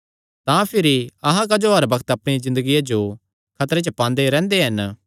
तां भिरी अहां क्जो हर बग्त अपणिया ज़िन्दगिया जो खतरे च पांदे रैंह्दे हन